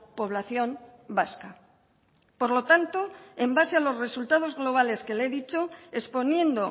población vasca por lo tanto en base a los resultados globales que le he dicho exponiendo